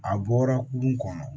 A bɔra kurun kɔnɔ